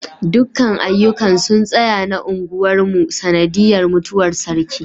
dukkan aiyukan sun tsaya na gunmar mu sanadiyar mutuwar sarki